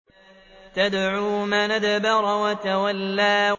تَدْعُو مَنْ أَدْبَرَ وَتَوَلَّىٰ